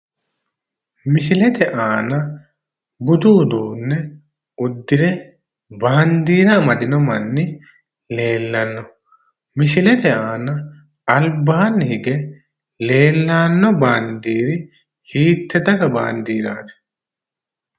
misilete aana budu uduunne uddire baandiira amadino manni leellanno misilete aana albaanni hige leellanno baandiiri hiitte daga baandiiraati?